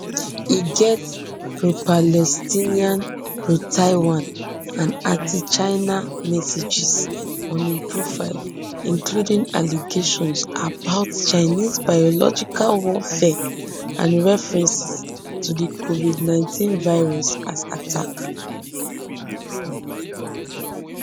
e get propalestinian protaiwan and antichina messages on im profile including allegations about chinese biological warfare and references to di covidnineteen virus as attack